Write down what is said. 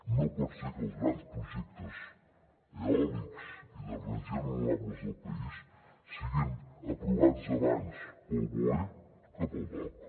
no pot ser que els grans projectes eòlics i d’energies renovables del país siguin aprovats abans pel boe que pel dogc